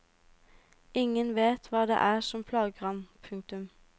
Ingen vet hva det er som plager ham. punktum